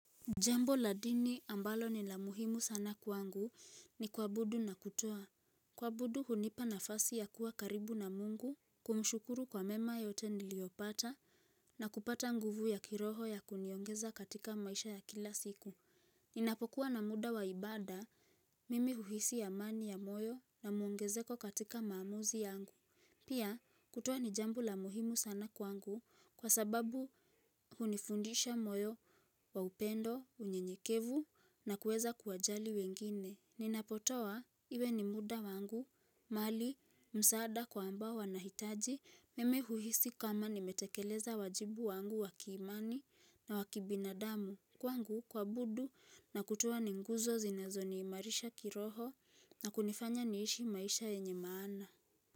Jambo la dini ambalo ni la muhimu sana kwangu ni kuabudu na kutoa. Kuabudu hunipa nafasi ya kuwa karibu na mungu, kumshukuru kwa mema yote niliyopata, na kupata nguvu ya kiroho ya kuniongeza katika maisha ya kila siku. Ninapokuwa na muda waibada, mimi huhisi amani ya moyo na muongezeko katika maamuzi yangu. Pia, kutoa ni jambo la muhimu sana kwangu kwa sababu hunifundisha moyo wa upendo, unye nyekevu na kuweza kuwajali wengine. Ninapotowa iwe ni muda wangu, mali, msaada kwa ambao wanahitaji, mimi huhisi kama nimetekeleza wajibu wangu wakiimani na wakibinadamu kwangu kuabudu na kutoa ni nguzo zinazo niimarisha kiroho na kunifanya niishi maisha yenye maana.